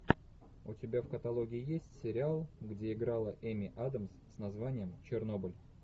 у тебя в каталоге есть сериал где играла эми адамс с названием чернобыль